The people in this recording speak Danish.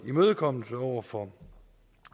imødekommende over for